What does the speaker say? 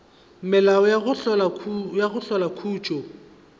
melao ya go hlola khutšo